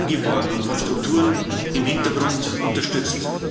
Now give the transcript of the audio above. Sie werden angeworben und von Strukturen im Hintergrund unterstützt.